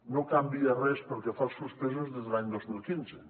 no canvia res pel que fa als suspesos des de l’any dos mil quinze